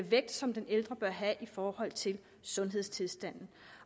vægt som den ældre bør have i forhold til sundhedstilstanden